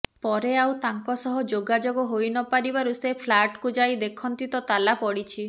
ପରେ ଆଉ ତାଙ୍କ ସହ ଯୋଗାଯୋଗ ହୋଇ ନ ପାରିବାରୁ ସେ ଫ୍ଲାଟ୍କୁ ଯାଇ ଦେଖନ୍ତି ତାଲା ପଡ଼ିଛି